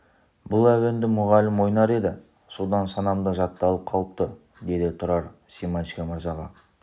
бұл әуенді мұғалім ойнар еді содан санамда жатталып қалыпты деді тұрар семашко мырзаға